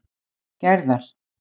Gerðar